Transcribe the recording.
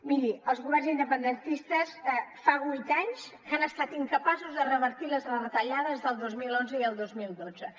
miri els governs independentistes fa vuit anys que han estat incapaços de revertir les retallades del dos mil onze i el dos mil dotze